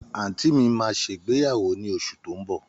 Àǹtí mi máa ṣègbéyàwó ní oṣù tó ń bọ̀.